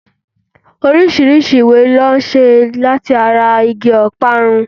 Orísirísi ìwé ni wón n se látara Igi ọparun